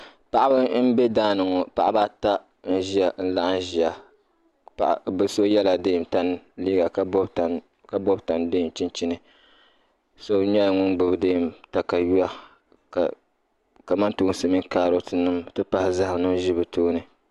paɣiba m-be daa ni ŋɔ paɣiba ata n-laɣim ʒia bɛ so yɛla deem tani liiga ka bɔbi tani deem chinchini so nyɛla ŋun gbubi deem takayua ka kamantoosi mini kaarɔtinima nti pahi zahima ʒi bɛ tooni